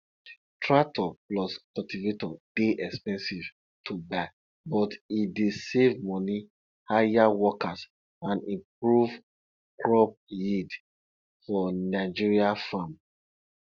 tractor plus cultivator dey expensive to buy but e dey save money hire workers and improve crop yield for nigeria farm